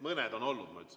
Mõned on olnud, ma ütlesin.